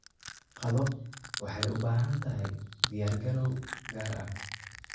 Qado waxay u baahan tahay diyaargarow gaar ah.